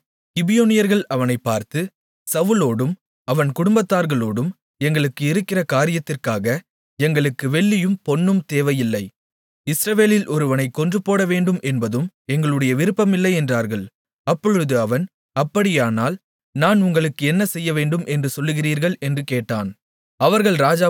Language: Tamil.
அப்பொழுது கிபியோனியர்கள் அவனைப் பார்த்து சவுலோடும் அவன் குடும்பத்தார்களோடும் எங்களுக்கு இருக்கிற காரியத்திற்காக எங்களுக்கு வெள்ளியும் பொன்னும் தேவையில்லை இஸ்ரவேலில் ஒருவனைக் கொன்றுபோடவேண்டும் என்பதும் எங்களுடைய விருப்பம் இல்லை என்றார்கள் அப்பொழுது அவன் அப்படியானால் நான் உங்களுக்கு என்ன செய்யவேண்டும் என்று சொல்லுகிறீர்கள் என்று கேட்டான்